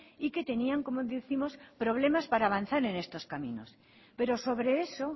y que tenían como décimos problemas para avanzar en estos caminos pero sobre eso